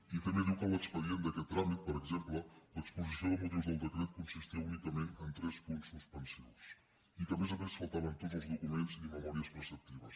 i també diu que l’expedient d’aquest tràmit per exemple l’exposició de motius del decret consistia únicament en tres punts suspensius i que a més a més faltaven tots els documents i les memòries preceptives